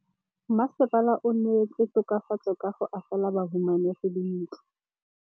Mmasepala o neetse tokafatsô ka go agela bahumanegi dintlo.